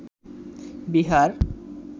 Bihar